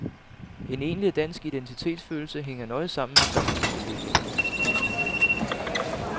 En egentlig dansk identitetsfølelse hænger nøje sammen med samfundsudviklingen. punktum